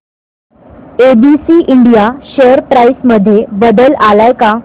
ABC India share price मध्ये बदल आलाय का